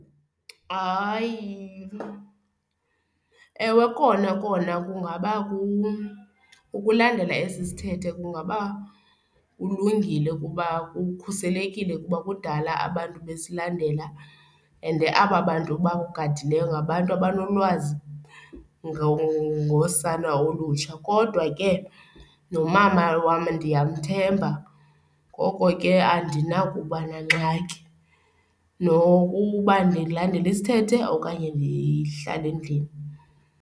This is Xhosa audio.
Hayi, ewe kona kona kungaba ukulandela esi sithethe kungaba kulungile kuba kukhuselekile kuba kudala abantu besilandela ende aba bantu bokugadileyo ngabantu abanolwazi ngosana olutsha kodwa ke nomama wam ndiyamthemba. Ngoko ke andinakuba nangxaki nokuba ndilandele isithethe okanye ndihlale endlini.